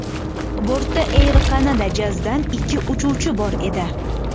Bortda Air Canada Jazz’dan ikki uchuvchi bor edi.